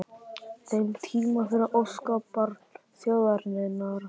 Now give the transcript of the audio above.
þeim tíma fyrir óskabarn þjóðarinnar?